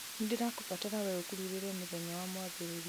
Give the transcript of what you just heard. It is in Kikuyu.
nĩ ndĩrakũbatara wee ũkururĩre mũthenya wa mwambĩrĩrio